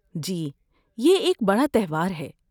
جی، یہ ایک بڑا تہوار ہے۔